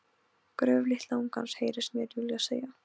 Gröf litla ungans, heyrist mér Júlía segja.